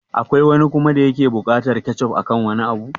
Akwai wani kuma da yake buƙatar kechof akan wani abu?